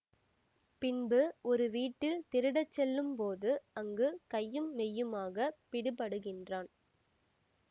பின்பு ஒரு வீட்டில் திருடச்செல்லும் போது அங்கு கையும் மெய்யுமாகப் பிடிபடுகின்றான்